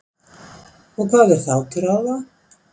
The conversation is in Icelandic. Og hvað er þá til ráða?